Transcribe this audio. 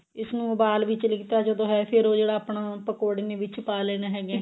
ਇਸਨੂੰ ਉਬਾਲ ਵਿੱਚ ਲੀਤਾ ਜਦੋਂ ਇਹ ਫੇਰ ਉਹ ਜਿਹੜਾ ਆਪਾਂ ਪਕੋੜੇ ਨੇ ਵਿੱਚ ਪਾ ਲੈਣੇ ਹੈਗੇ